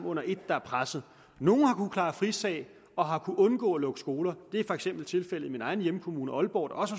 under et der er pressede nogle har kunnet klare frisag og har kunnet undgå at lukke skoler det er for eksempel tilfældet i min egen hjemkommune aalborg der også